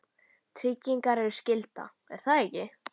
tryggingar eru skylda, er það ekki?